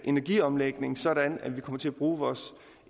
energiomlægning sådan at vi kommer til at bruge vores